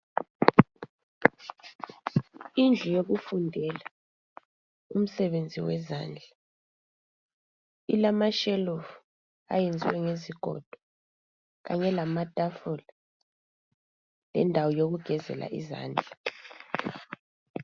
Indlu yokufundela umsebenzi wezandla ilama shelufu ayenziwe ngezigodo kanye lamatafula lendawo yokugezela izandla.